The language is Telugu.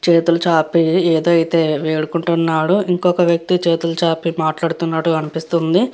చేతులు చాపి ఏదైతే వేడుకుంటున్నాడో ఇంకొక వ్యక్తి చేతులు చాపి మాట్లాడుతున్నారు అనిపిస్తుంది.